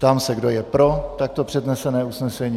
Ptám se kdo, je pro takto přednesené usnesení.